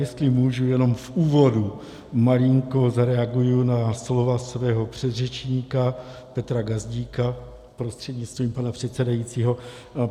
Jestli můžu, jenom v úvodu malinko zareaguji na slova svého předřečníka Petra Gazdíka prostřednictvím pana předsedajícího.